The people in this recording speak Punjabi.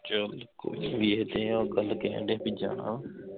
ਚੱਲ ਕੋਈ ਨਹੀਂ ਹਜੇ ਆਹ ਗੱਲ ਤੇ ਜਾਣਾ ਵਾ